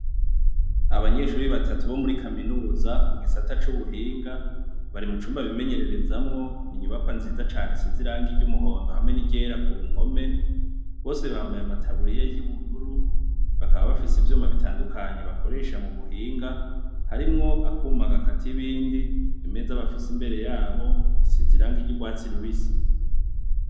Abanyeshure batatu bo muri kaminuza bo mu gisata c’ubuhinga, bari mucumba bimenyererezamwo, n’inyubakwa nziza cane isize irangi ry’umuhondo hamwe n’iryera ku mpome bose bambaye amataburiya y’ubururu, bakaba bafise ivyuma bitandukanye bakoresha mu buhinga harimwo akuma gakata ibindi, imeza bafise imbere yabo isize irangi ry’urwatsi rubisi.